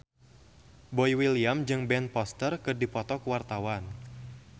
Boy William jeung Ben Foster keur dipoto ku wartawan